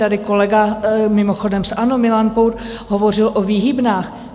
Tady kolega, mimochodem z ANO, Milan Pour, hovořil o výhybnách.